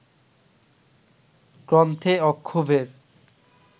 গ্রন্থে অক্ষোভ্যের